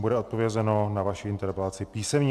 Bude odpovězeno na vaši interpelaci písemně.